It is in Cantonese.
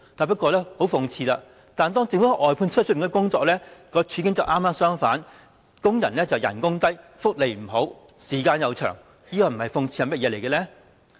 不過，很諷刺的是，政府的外判工處境剛剛相反，工資低、福利差、時間長，這不是諷刺是甚麼呢？